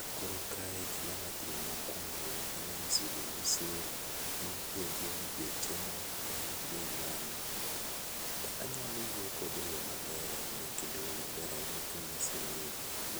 Kakoro kae gima anya timo mokuongo anya ng'iso jauso, anya penje ni beche no en bei mane. Anyalo wuoyo kode e yoo maler ahinya kendo e yoo maber ahinya kanyise ni